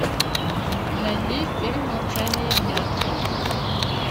найди фильм молчание ягнят